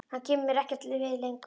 Hann kemur mér ekkert við lengur.